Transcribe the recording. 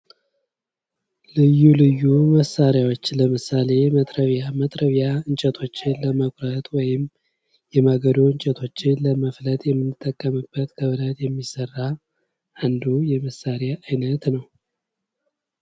ልዩ ልዩ መሳሪያዎች ለምሳሌ መጥረቢያ እንጨቶችን ለመፍለጥ ወይም ደግሞ የማገዶ እንጨቶችን ለመፍጠር የምንጠቀምበት ከብረት የሚሠራ አንዱ የመሳሪያ አይነት ነው።